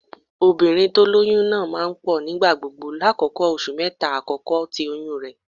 Obinrin ti o loyun naa maa n pọ nigbagbogbo lakoko oṣu mẹta akọkọ ti oyun rẹ.